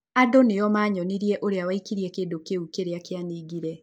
Andũ nĩo manyonirie ũrĩa waikirie kĩndũ kĩu kĩrĩa kĩaningire